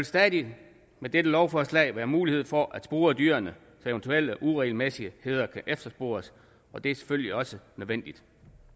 stadig med dette lovforslag være mulighed for at spore dyrene så eventuelle uregelmæssigheder kan efterspores og det er selvfølgelig også nødvendigt